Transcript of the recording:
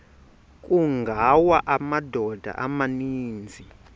kungawa amadoda amaninzi